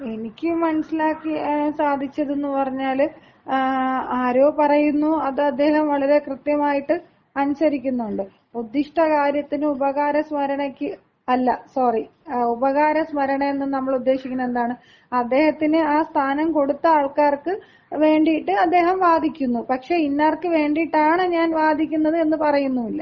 എനിക്ക് മനസ്സിലാക്കാൻ സാധിച്ചത് എന്ന് പറഞ്ഞാൽ ആരോ പറയുന്നു അത് അദ്ദേഹം വളരെ കൃത്യമായിട്ട് അനുസരിക്കുന്നുണ്ട്. ഉദ്ദിഷ്ടകാര്യത്തിന് ഉപകാരസ്മരണയ്ക്ക് അല്ല സോറി ഉപകാരസ്മരണ എന്ന് നമ്മൾ ഉദ്ദേശിക്കുന്നത് എന്താണ് അദ്ദേഹത്തിന് ആ സ്ഥാനം കൊടുത്ത ആൾക്കാർക്ക് വേണ്ടിയിട്ട് അദ്ദേഹം വാദിക്കുന്നു. പക്ഷേ ഇന്നാർക്ക് വേണ്ടിയിട്ടാണ് ഞാൻ വാദിക്കുന്നത് എന്ന് പറയുന്നുമില്ല.